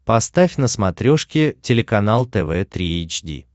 поставь на смотрешке телеканал тв три эйч ди